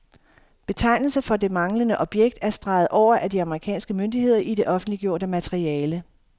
Betegnelsen for det manglende objekt er streget over af de amerikanske myndigheder i det offentliggjorte materiale.